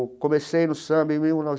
Comecei no Samba em mil